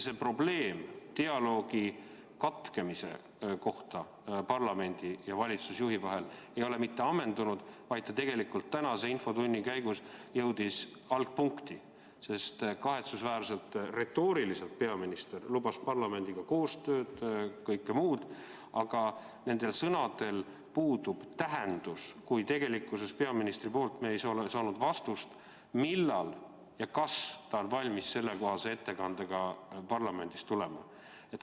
See probleem dialoogi katkemisest parlamendi ja valitsusjuhi vahel ei ole mitte ammendunud, vaid ta jõudis tänase infotunni käigus algpunkti, sest kahetsusväärselt retooriliselt peaminister lubas parlamendiga koostööd, kõike muud, aga nendel sõnadel puudub tähendus, kui tegelikkuses me ei ole peaministrilt saanud vastust, millal ja kas ta on valmis sellekohase ettekandega parlamenti tulema.